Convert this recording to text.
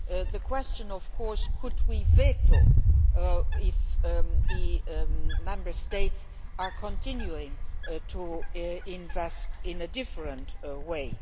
The question, of course, is could we veto it if the Member States are continuing to invest in a different way?